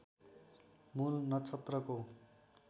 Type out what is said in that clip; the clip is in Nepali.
मूल नक्षत्रको